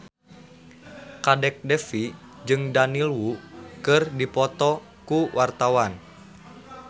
Kadek Devi jeung Daniel Wu keur dipoto ku wartawan